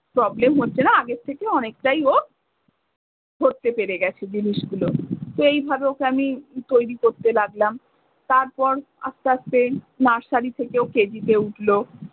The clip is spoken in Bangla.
problem হচ্ছে না আগের থেকে অনেকটাই ও ধরতে পেরে গেছে জিনিসগুলো। তো এই ভাবে ওকে আমি তৈরী করতে লাগলাম। তারপর আস্তে আস্তে nursery থেকে ও KG তে উঠলো।